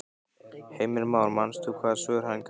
Heimir Már: Manst þú hvaða svör hún gaf þér?